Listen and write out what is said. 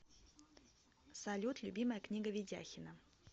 салют любимая книга ведяхина